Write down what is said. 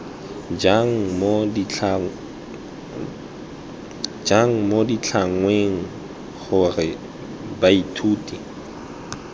jang mo ditlhangweng gore baithuti